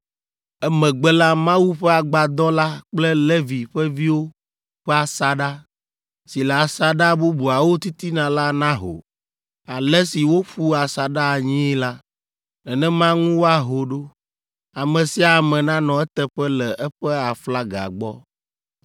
Emegbe la, Mawu ƒe Agbadɔ la kple Levi ƒe viwo ƒe asaɖa, si le asaɖa bubuawo titina la naho. Ale si woƒu asaɖa anyii la, nenema ŋu woaho ɖo; ame sia ame nanɔ eteƒe le eƒe aflaga gbɔ.